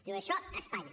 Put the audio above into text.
diu això a espanya